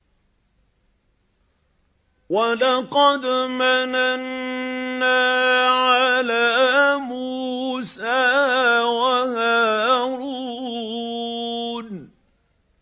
وَلَقَدْ مَنَنَّا عَلَىٰ مُوسَىٰ وَهَارُونَ